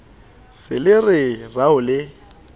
se le re rao le